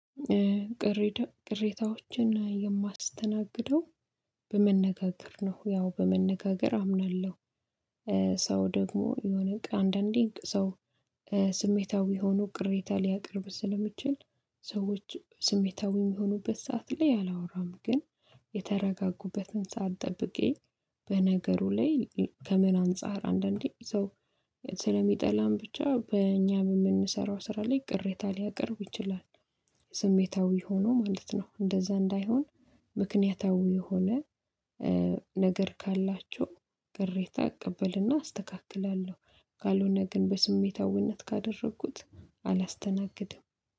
ቅሬታዎችን የማስተናግደው በመነጋገር ነው። ያው በመነጋገር አምናለሁ። ሰው ደግሞ የሆነ አንዳንዴ እንደሰው ስሜታዊ ሆኖ ቅሬታ ሊያቀርብ ስለሚችል ሰዎች ስሜታዊ የሚሆኑበት ሰዓት ላይ አላወራም። ግን ሳትጠብቂ በነገሩ ላይ ከመና አንፃር አንዳንዴ ሰው ብቻ በእኛ በምንሰራው ስራ ላይ ቅሬታ ሊያቀርቡ ይችላል። ስሜታዊ ሆኖ ማለት ነው። እንደዛ እንዳይሆን ምክንያታዊ የሆነ ነገር ካላችሁ። እቀበልና አስተካክላለሁ። ካልሆነ ግን በስሜታዊነት ካደረግኩት አላስተናግድም።